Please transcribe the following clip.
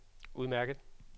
udmærket